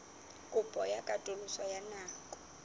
kopo ya katoloso ya nako